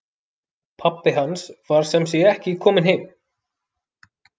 Pabbi hans var sem sé ekki kominn heim.